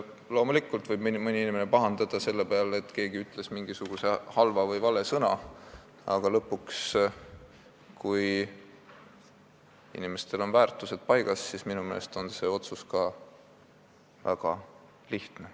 Loomulikult võib mõni inimene pahandada selle peale, et keegi ütles mingisuguse halva või vale sõna, aga lõpuks on see otsustamine minu meelest väga lihtne, kui inimesel on väärtused paigas.